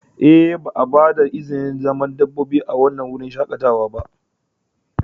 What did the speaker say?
Ee, ba a ba da izinin dabbobi a wannan wurin shakatawa ba.